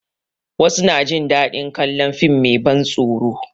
Wasu na jin daɗin kalon fim mai ban tsoro